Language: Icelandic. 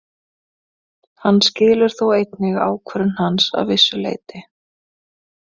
Hann skilur þó einnig ákvörðun hans að vissu leyti.